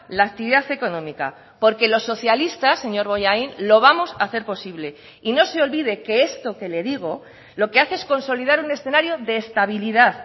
la actividad económica porque los socialistas señor bollain lo vamos a hacer posible y no se olvide que esto que le digo lo que hace es consolidar un escenario de estabilidad